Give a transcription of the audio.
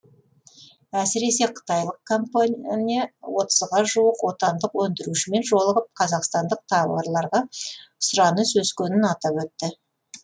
әсіресе қытайлық компания отызға жуық отандық өндірушімен жолығып қазақстандық тауарларға сұраныс өскенін атап өтті